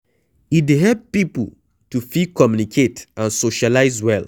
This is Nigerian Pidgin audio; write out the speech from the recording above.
e dey help pipo to fit communicate and socialize well